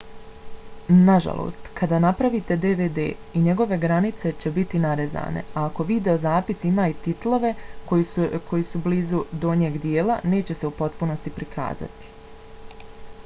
nažalost kada napravite dvd i njegove granice će biti narezane a ako videozapis ima i titlove koji su blizu donjeg dijela neće se u potpunosti prikazati